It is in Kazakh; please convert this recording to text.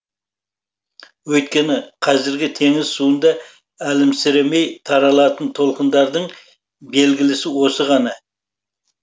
өйткені қазіргі теңіз суында әлімсіремей таралатын толқындардың белгілісі осы ғана